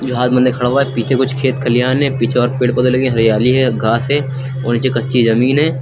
जो हाथ बंधे खड़ा हुआ है पीछे कुछ खेत खलिहान है पीछे और पेड़ पौधे लगे है। हरियाली है। घास है और नीचे कच्ची जमीन है।